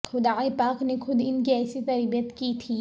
خدائے پاک نے خود ان کی ایسی تربیت کی تھی